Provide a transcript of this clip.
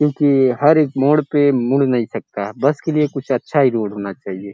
क्योंकि हर एक मोड़ पे मुड़ नहीं सकता। बस के लिए कुछ अच्छा ही रोड होना चाहिए।